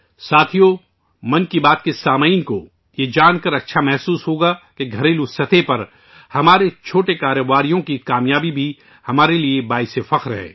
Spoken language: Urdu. ساتھیو ،' من کی بات ' کے سننے والوں کو یہ جان کر اچھا لگے گا کہ گھریلو سطح پر بھی ہمارے چھوٹے پیمانے کے کاروباریوں کی کامیابی ہمارے لئے باعث فخر ہے